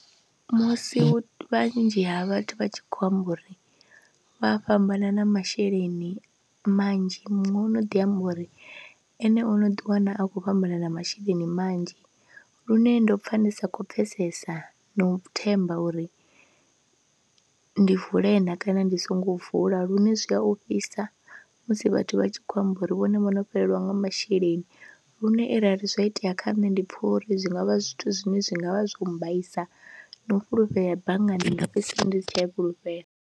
Musi vhanzhi ha vhathu vha tshi khou amba uri vha fhambana na masheleni manzhi, muṅwe ono ḓi amba uri ene o no ḓiwana a khou fhambana na masheleni manzhi lune ndo pfha ndi sa khou pfhesesa na u themba uri ndi vule na kana ndi songo vula lune zwi a ofhisa musi vhathu vha tshi khou amba uri vhone vho no fhelelwa nga masheleni lune arali zwa itea kha nṋe ndi pfha uri zwi nga vha zwithu zwine zwi nga vha zwo mmbaisa na u fhulufhela bannga ndi nga fhedzisela ndi si tsha a i fhulufhela.